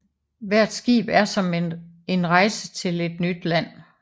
Hvert skib er som en rejse til en nyt land